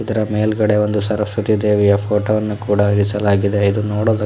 ಇದರ ಮೇಲ್ಗಡೆ ಒಂದು ಸರಸ್ವತಿ ದೇವಿಯ ಫೋಟೋ ವನ್ನು ಕೂಡ ಇರಿಸಲಾಗಿದೆ ಇದು ನೋಡೋದ --